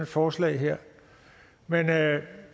forslag her men